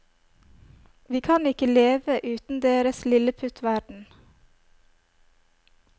Vi kan ikke leve uten deres lilleputtverden.